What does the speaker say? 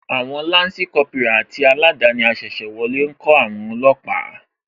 Àwon Lansi Kópírà àti aladani asese wọlé ńkó àwon olóòpà